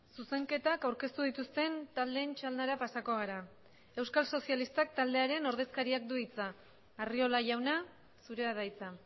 zuzenketak aurkeztu dituzten taldeen txandara pasako gara euskal sozialistak taldearen ordezkariak du hitza arriola jauna zurea da hitza